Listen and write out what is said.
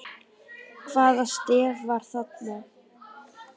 Hvaða stef var það?